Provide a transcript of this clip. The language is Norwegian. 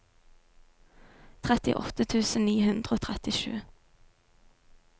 trettiåtte tusen ni hundre og trettisju